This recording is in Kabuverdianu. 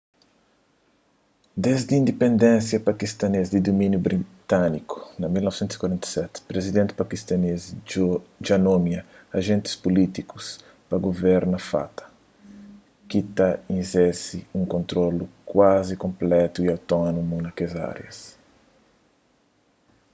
desdi indipendénsia pakistanês di dumíniu britániku na 1947 prizidenti pakistanês dja nomia ajentis pulítiku pa guverna fata ki ta izerse un kontrolu kuazi konplétu y otónomu na kes árias